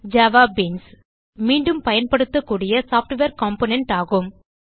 JavaBeans JavaBeans மீண்டும் பயன்படுத்தக்கூடிய software component ஆகும்